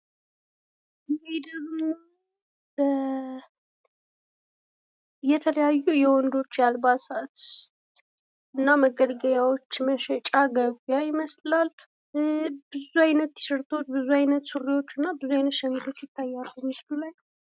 ከዚህ ላይ ደግሞ የተለያዩ የወንዶች የአልባሳት እና መገልገያዎች መሸጫ ገቢያ ይመስላል። ብዙ አይነት ቲሸርቶች፤ ብዙ አይነት ሹራቦች እና ብዙ አይነት ሸሚዞች ይታያሉ ምስሉ ላይ።